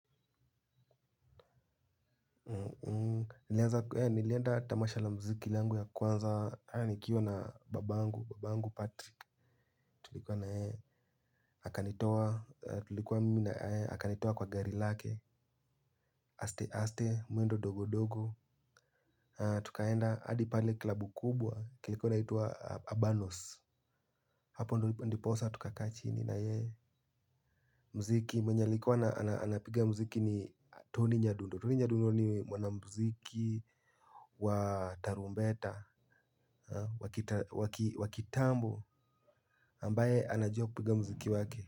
Nilienda tamasha la mziki langu ya kwanza nikiwa na babangu patrick tulikuwa na yeye akanitoa tulikuwa mimi na yeye akanitoa kwa gari lake aste aste mwendo dogodogo tukaenda hadi pale klabu kubwa kilikuwa inaitwa abanos hapo ndiposa tukakaa chini na yeye muziki mwenye alikuwa anapiga muziki ni toni nyadundo toni nyadundo ni mwanamuziki wa tarumbeta wa kitambo ambaye anajua kupiga muziki wake.